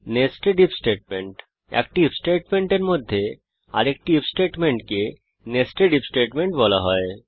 nested IF statement একটি IF স্টেটমেন্টের মধ্যে আরেকটি আইএফ স্টেটমেন্টকে নেস্টেড আইএফ স্টেটমেন্ট বলা হয়